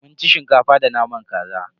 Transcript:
Mun ci Shinkafa da naman kaza.